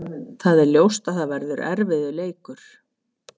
Það er ljóst að það verður erfiður leikur.